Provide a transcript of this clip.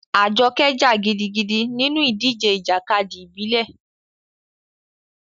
Ajoke jà gidigidi nínú ìdíje ìjàkadì ìbílẹ̀.